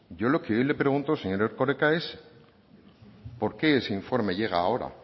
yo lo que hoy le pregunto señor erkoreka es por qué ese informe llega ahora